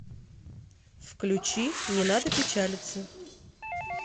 включи не надо печалиться